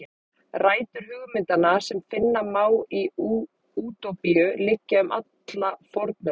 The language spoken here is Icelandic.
Rætur hugmyndanna sem finna má í Útópíu liggja um alla fornöld.